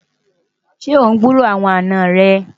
ṣé ọ n gburó àwọn àná rè?